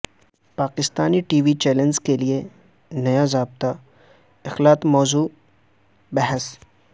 Pakistani T V channels کے لیے نیا ضابطہ اخلاق موضوع بحث